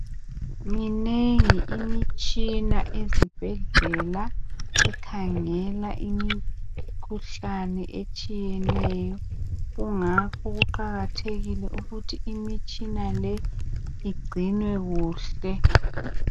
Minengi imitshina ezibhedlela ekhangela imikhuhlane etshiyeneyo. Kungakho kuqakathekile ukuthi imitshina le igcinwe kuhle.